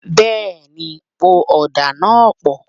Bẹ́ẹ̀ni, po ọ̀dà náà pọ̀